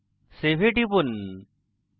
save এ টিপুন